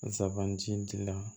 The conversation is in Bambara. Zabanti dilan